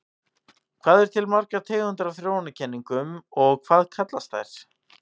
Hvað eru til margar tegundir af þróunarkenningum og hvað kallast þær?